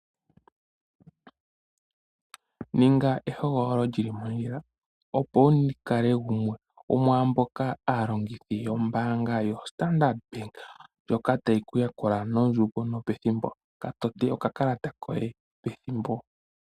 Ninga ehogololo lyili mondjila opo wukale gumwe gomwa mboka aalongithi yoStandard Bank ndyoka tayi kuyakula noondjoundo no pethimbo, katote okakalata koye pethimbo.